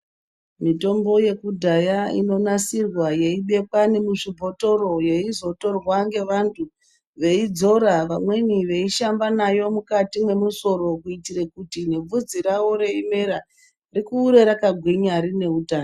Mitombo yekudhaya inonasirwa yeibekwa nemuzvibhotoro yeizotorwa ngevantu veidzora vamweni veishamba nayo mukati mwemusoro kuitire kuti nebvudzi ravo reimera rikure rakagwinya rine utano.